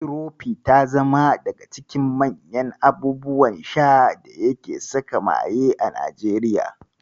Tirofi ta zama daga cikin manyan abubuwan sha da yake saka maye a Najeriya.